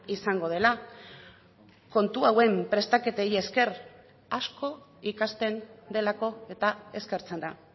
izango dela kontu hauen prestaketei esker asko ikasten delako eta eskertzen da